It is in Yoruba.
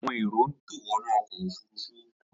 Àwọn èrò ń tò wọnú ọkọ̀ òfurufú